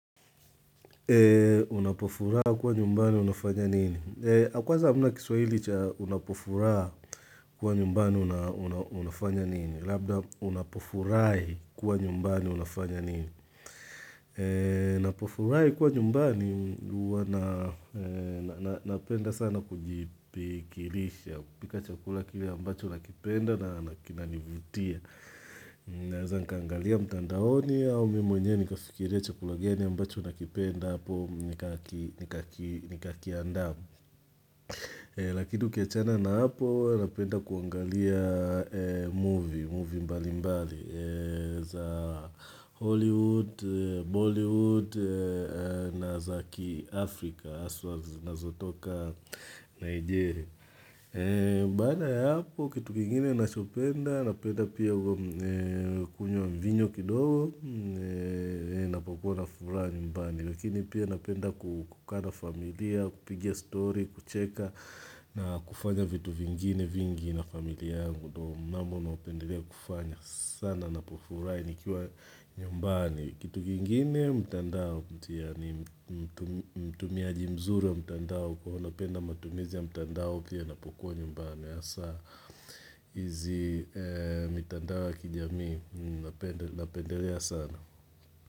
Unapofura kuwa nyumbani unafanya nini? Kwanza hamna kiswahili cha unapofura kuwa nyumbani unafanya nini? Labda unapofurahi kuwa nyumbani unafanya nini? Napofurahi kuwa nyumbani, napenda sana kujipigilisha pika chakula kile ambacho nakipenda na kinanivutia Naeza nikangalia mtandaoni au mimi mwenye nikafikiria chakula gania ambacho nakipenda hapo nikakiandaa. Lakini ukiachana na hapo napenda kuangalia movie, movie mbali mbali za Hollywood, Bollywood na za kiafrika haswa zinazotoka Nigeria. Baada ya hapo kitu kingine nachopenda napenda pia kunywa mvinyo kidogo napakuwa na furahi nyumbani. Lakini pia napenda kukaa na familia, kupigia story, kucheka na kufanya vitu vingine vingi na familia yangu mnamo napendelea kufanya sana napofurahi nikiwa nyumbani Kitu kingine mtandao Mutia ni mtumiaji mzuri wa mtandao Kwa napenda matumizi ya mtandao Pia napokuwa nyumbani ya saa hizi mtandao ya kijamii Napendelea sana.